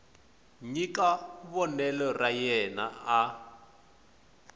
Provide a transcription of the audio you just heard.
nyika vonelo ra yena a